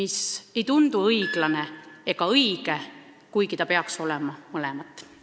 See ei tundu õiglane ega õige, kuigi peaks olema mõlemat.